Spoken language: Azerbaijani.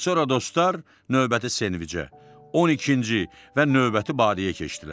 Sonra dostlar növbəti senvicə, 12-ci və növbəti badəyə keçdilər.